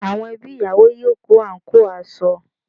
Àwọn ẹbí ìyàwó yóò kó àǹkóò aṣọ